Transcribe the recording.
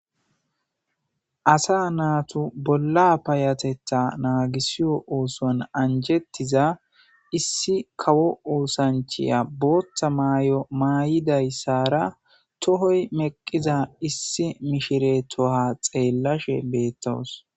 Asa naatu bolla payatetha naagisiyo oosoan anjettiza issi kawo oosanchiya booththa maay'o maay'idayssara tohoy meqqiza issi mishiretoha xeellashe beettowos